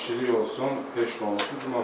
Sakitçilik olsun, heç nə olmasın.